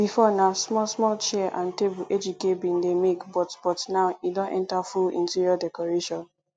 before na small small chair and table ejike bin dey make but but now e don enter full interior decoration